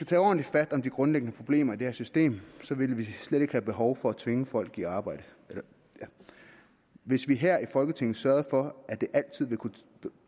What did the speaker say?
tage ordentligt fat om de grundlæggende problemer i det her system ville vi slet ikke have behov for at tvinge folk i arbejde hvis vi her i folketinget sørgede for at det altid